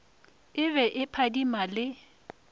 e be e phadima le